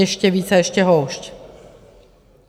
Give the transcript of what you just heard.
Ještě více a ještě houšť.